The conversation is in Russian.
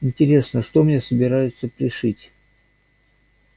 интересно что мне собираются пришить